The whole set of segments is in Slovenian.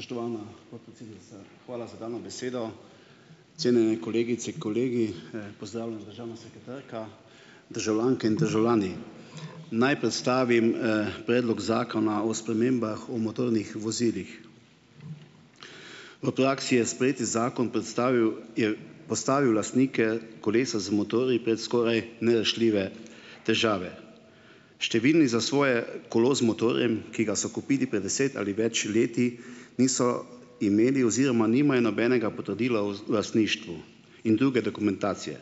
Spoštovana podpredsednica, hvala za dano besedo. Cenjeni kolegice, kolegi, pozdravljena državna sekretarka, državljanke in državljani. Naj predstavim, predlog Zakona o spremembah o motornih vozilih. V praksi je sprejeti zakon predstavil, je postavil lastnike kolesa z motorji pred skoraj nerešljive težave. Številni za svoje kolo z motorjem, ki ga so kupili pred deset ali več leti, niso imeli oziroma nimajo nobenega potrdila o lastništvu in druge dokumentacije.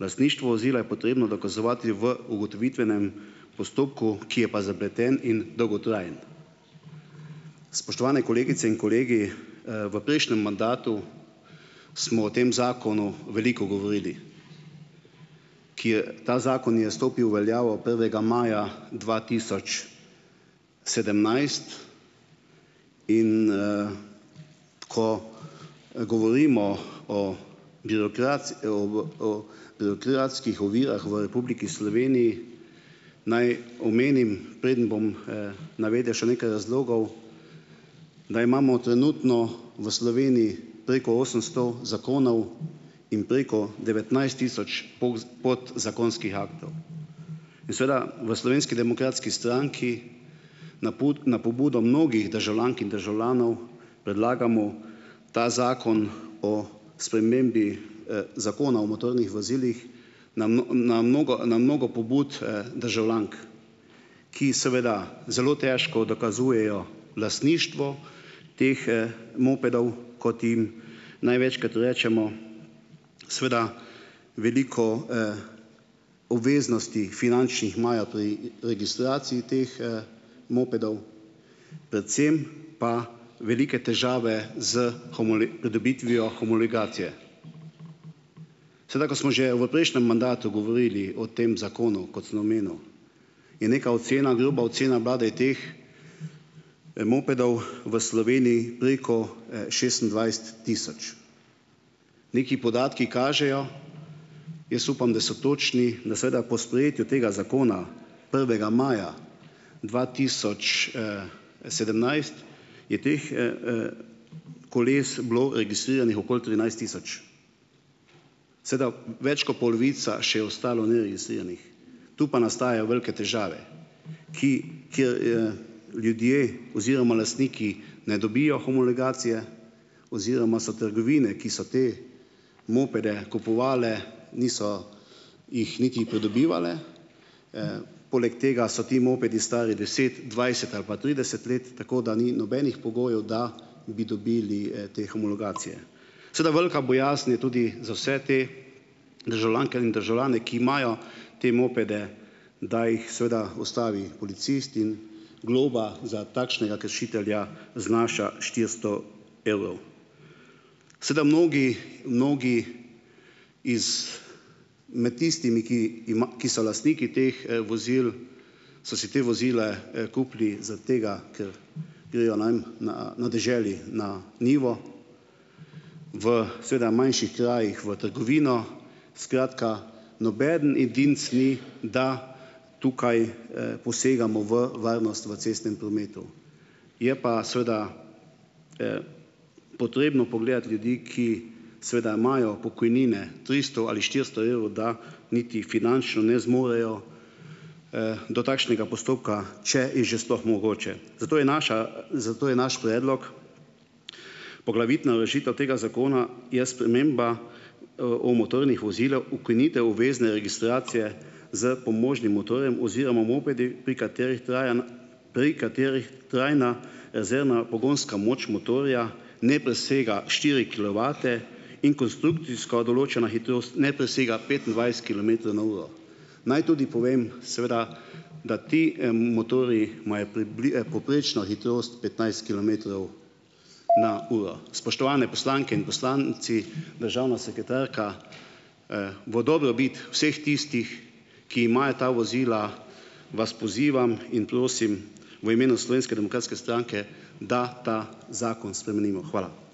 Lastništvo vozila je potrebno dokazovati v ugotovitvenem postopku, ki je pa zapleten in dolgotrajen. Spoštovane kolegice in kolegi, v prejšnjem mandatu smo o tem zakonu veliko govorili. Ki je, ta zakon je stopil v veljavo prvega maja dva tisoč sedemnajst, in, ko, govorimo o o o birokratskih ovirah v Republiki Sloveniji, naj omenim, preden bom, navedel še nekaj razlogov, da imamo trenutno v Sloveniji preko osemsto zakonov in preko devetnajst tisoč podzakonskih aktov in seveda v Slovenski demokratski stranki na na pobudo mnogih državljank in državljanov, predlagamo ta Zakon o spremembi, Zakona o motornih vozilih na na mnogo, na mnogo pobud, državljank, ki seveda zelo težko dokazujejo lastništvo teh, mopedov, kot jim največkrat rečemo. Seveda veliko, obveznosti finančnih imajo pri registraciji teh, mopedov, predvsem pa velike težave s pridobitvijo homologacije. Seveda, ko smo že v prejšnjem mandatu govorili o tem zakonu, kot sem omenil, je neka ocena, groba ocena bila, da je teh, mopedov v Sloveniji preko, šestindvajset tisoč. Neki podatki kažejo, jaz upam, da so točni, da seveda po sprejetju tega zakona prvega maja dva tisoč, sedemnajst, je teh, koles bilo registriranih okoli trinajst tisoč. Seveda več kot polovica še ostalo neregistriranih, tu pa nastajajo velike težave, ki kjer, ljudje oziroma lastniki ne dobijo homologacije oziroma so trgovine, ki so te mopede kupovale, niso jih niti pridobivale, poleg tega so ti mopedi stari deset, dvajset ali pa trideset let, tako da ni nobenih pogojev, da bi dobili, te homologacije. Seveda velika bojazen je tudi za vse te državljanke in državljane, ki imajo te mopede, da jih seveda ustavi policist in globa za takšnega kršitelja znaša štiristo evrov. Seveda mnogi mnogi iz med tistimi, ki ki so lastniki teh, vozil, so si te vozile, kupili zaradi tega, ker grejo, ne vem na na deželi na njivo, v seveda manjših krajih v trgovino, skratka, nobeden edinec ni, da tukaj, posegamo v varnost v cestnem prometu. Je pa seveda potrebno pogledati ljudi, ki seveda imajo pokojnine tristo ali štiristo evrov, da niti finančno ne zmorejo, do takšnega postopka, če je že sploh mogoče. Zato je naša zato je naš predlog, poglavitna rešitev tega zakona je sprememba, o motornih vozilih - ukinitev obvezne registracije s pomožnim motorjem oziroma mopedi, pri katerih traja na, pri katerih trajna rezervna pogonska moč motorja ne presega štiri kilovate in konstrukcijsko določena hitrost ne presega petindvajset kilometrov na uro. Naj tudi povem seveda, da ti, motorji imajo povprečno hitrost petnajst kilometrov na uro. Spoštovane poslanke in poslanci, državna sekretarka, v dobrobit vseh tistih, ki imajo ta vozila, vas pozivam in prosim v imenu Slovenske demokratske stranke, da ta zakon spremenimo. Hvala.